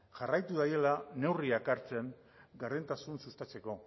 jarraitu dagiala neurriak hartzen gardentasuna sustatzeko